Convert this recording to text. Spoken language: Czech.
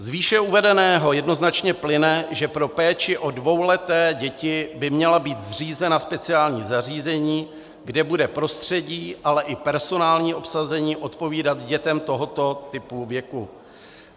Z výše uvedeného jednoznačně plyne, že pro péči o dvouleté děti by měla být zřízena speciální zařízení, kde bude prostředí, ale i personální obsazení odpovídat dětem tohoto typu věku.